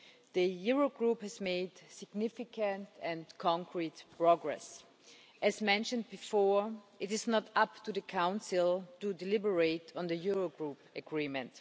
The Eurogroup has made significant and concrete progress. As mentioned before, it is not up to the Council to deliberate on the Eurogroup agreement.